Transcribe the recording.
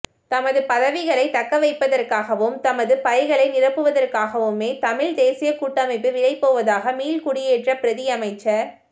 தமது பதவிகளை தக்கவைப்பதற்காகவும் தமது பைகளை நிரப்புவதற்காகவுமே தமிழ் தேசிய கூட்டமைப்பு விலைபோவதாக மீள்குடியேற்ற பிரதியமைச்சர்